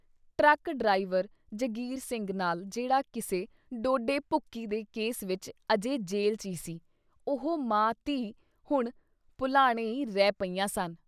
Truck driver Jangir Singh ਨਾਲ ਜਿਹੜਾ ਕਿਸੇ ਡੋਡੇ ਭੂਕੀ ਦੇ ਕੇਸ ਵਿੱਚ ਅਜੇ ਜੇਲ੍ਹ 'ਚ ਈ ਸੀ, ਉਹ ਮਾਂ ਧੀ ਹੁਣ ਭੁਲਾਣੇ ਈ ਰਹਿ ਪਈਆਂ ਸਨ।